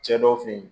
Cɛ dɔw fe yen